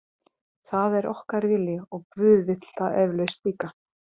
Það er okkar vilji og guð vill það eflaust líka.